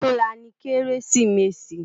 Òtúnlá ni Kérésimési